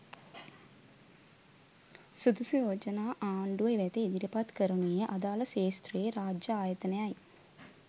සුදුසු යෝජනා ආණ්ඩුව වෙත ඉදිරිපත් කරනුයේ අදාළ ක්‍ෂේත්‍රයේ රාජ්‍ය ආයතනයයි.